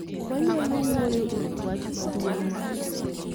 wanyalo wuyo ewi wach maduong' no